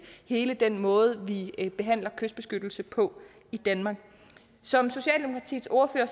hele den måde vi behandler kystbeskyttelse på i danmark som socialdemokratiets ordfører